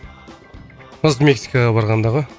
осы мексикаға барғанда ғой